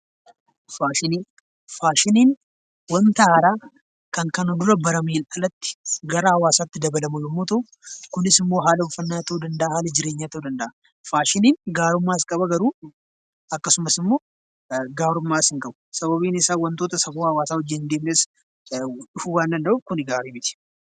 Faashinii Faashiniin wanta haaraa kan kana dura barameen alatti gara hawaasaatti dabalamu yommuu ta'u, kunis immoo haala uffannaa ta'uu danda'aa, haala jireenyaa ta'uu danda'a. Faashiniin gaarummaas qaba garuu akkasumas immoo gaarummaas hin qabu. Sababiin isaa wantoota safuu hawaasaa wajjin hin deemnes dhufuu waan danda'uuf kuni gaarii miti.